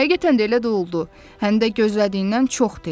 Həqiqətən də elə də oldu, həm də gözlədiyindən çox tez.